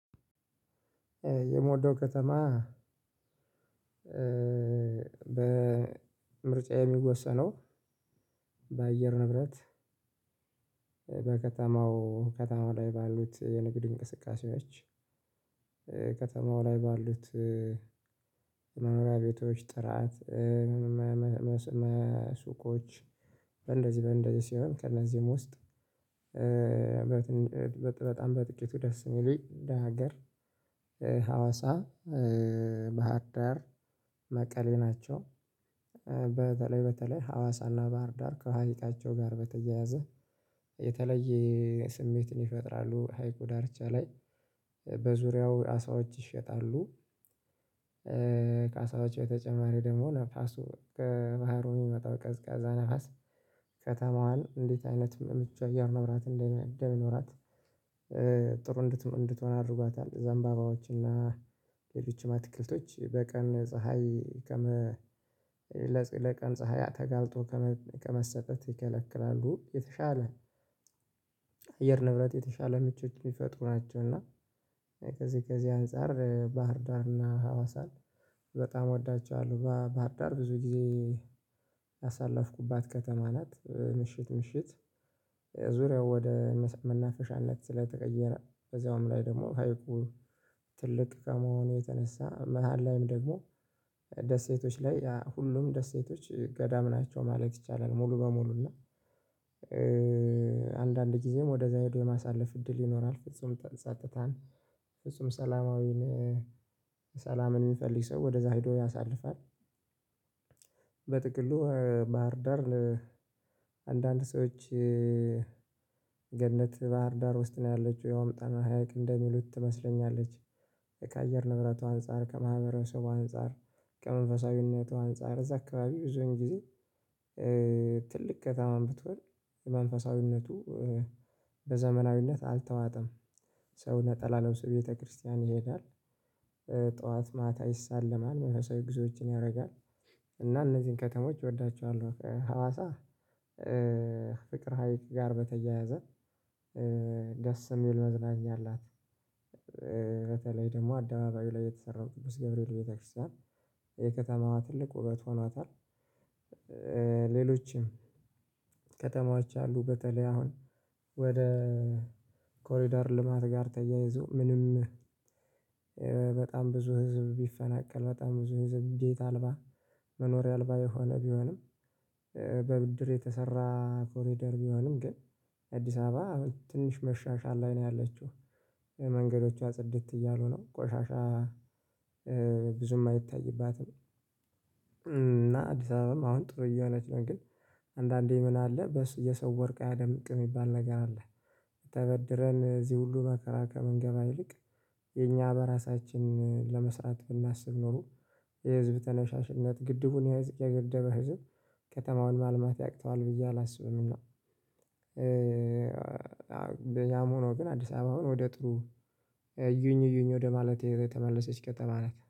የምወደው ከተማ እ በምርጫ የሚወሰነው ባአየር ንብረት በከተማው፣ ከተማው ላይ ባሉት የንግድ እንቅስቃሴዎች ከተማው ላይ ባሉት የመኖሪያ ቤቶች ጥራት፣ ሱቆች፣ እንደዚህ በእንደዚህ ሲሆን ከእነዚህም ውስጥ እ በጣም በጥቂቱ ደስ እሚለኝ እንደ ሀገር ሀዋሳ፣ ባህር ዳር፣ መቀሌ ናቸው። በተለይ ሀዋሳና ባህር ዳር ከሀይቃቸው ጋር በተያያዘ የተለየ ስሜትን ይፈጥራሉ። ሀይቁ ዳርቻ ላይ በዙሪያው አሳዎች ይሸጣሉ። እ ከአሳዎቹ በተጨማሪ ደግሞ፣ ነፋሱ ከባህሩ የሚመጣው ቀዝቃዛ ነፋስ ከተማዋን እንዴት አይነት ምቹ አየር ንብረት እንደ እንደሚኖራት ጥሩ እንት እንትሆን አድርጓታል። ዘንባባዎችና ሌሎች አትክልቶች በቀን ፀሀይ ከመ ለ ለቀን ፀሀይ ተጋልጦ ከመ ከመሰጠት ይከለክላሉ። የተሻለ አየር ንብረት የተሻለ ምቾት የሚፈጥሩ ናቸው። እና ከዚህ ከዚህ አንፃር ባህርዳር እና ሀዋሳን በጣም ወዳቸዋለሁ። ባ ባህርዳር ብዙ ጊዜ ያሳለፍኩባት ከተማ ናት። ምሽት ምሽት ዙሪያው ወደ መሰ መናፈሻነት ስለተቀየረ፣ በዛውም ላይ ደሞ ሀይቁ ትልቅ ከመሆኑ የተነሳ መሃል ላይም ደግሞ ደሴቶች ላይ አ ሁሉም ደሴቶች ገዳም ናቸው ማለት ይቻላል። ሙሉ በሙሉ እና አንዳንድ ግዜም ወደዛ ሄዶ የማሳለፍ እድል ይኖራል። ፍጹም ጠ ጸጥታን፣ ፍጹም ሰላማዊን እ ሰላምን ሚፈልግ ሰው ወደ ሄዶ ያሳልፋል። በጥቅሉ ባህርዳር አንዳንድ ሰዎች እ ገነት ባህርዳር ውስጥ ነው ያለችው። ያውም ጣና ሀይቅ እንደሚሉት ትመስለኛለች። ካየር ንብረቷ አንፃር፣ ከማህበረሰቧ አንፃር፣ ከመንፈሳዊነቷ አንፃር እዛ አካባቢ ብዙን ጊዜ እ ትልቅ ከተማም ብትሆን መንፈሳዊነቱ እ በዘመናዊነት አልተዋጠም። ሰው ነጠላ ለብሶ ቤተክርስቲያን ይሄዳል። እ ጠዋት ማታ ይሳለማል፣ መንፈሳዊ ጉዞዎችን ያረጋል፣ እና እነዚን ከተሞች እወዳቸዋለሁ። እ ሀዋሳ እ ፍቅር ሀይቅ ጋር በተያያዘ ደስ የሚል መዝናኛ አላት። እ በተለይ ደግሞ አደባባዩ ላይ የተሰራው ቅዱስ ገብርኤል ቤተክርስቲያን የከተማዋ ትልቅ ውበት ሆኗታል። እ ሌሎችም ከተማዎች አሉ በተለይ አሁን ወደ ኮሪደር ልማት ጋር ተያይዞ ምንም በጣም ብዙ ህዝብ ቢፈናቀል፣ በጣም ብዙ ህዝብ ቤት አልባ መኖሪያ አልባ የሆነ ቢሆንም በብድር የተሰራ ኮሪደር ቢሆንም ግን አዲስ አባ ትንሽ መሻሻል ላይ ነው ያለችው። መንገዶቿ ጽድት እያሉ ነው። ቆሻሻ እ ብዙም አይታይባትም እና አዲስ አበባም አሁን ጥሩ እየሆነች ነው። ግን አንዳንዴ ምን አለ በስ የሰው ወርቅ አያደምቅ ሚባል ነገር አለ። ተበድረን እዚህ ሁሉ መከራ ከምንገባ ይልቅ የኛ በራሳችን ለመስራት ብናስብ ኖሮ፣ የህዝብ ተነሻሽነት ግድቡን የህዝብ የገደበ ህዝብ ከተማውን ማልማት ያቅተዋል ብዬ አላስብም። እና ያም ሆኖ ግን አዲስ አባ አሁን ወደ ጥሩ እዩኝ እዩኝ ወደ ማለት የተመለሰች ከተማ ናት።